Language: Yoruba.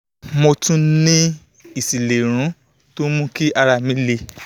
mo tún ní ìsínilérùn tó ń mú kí ara mi le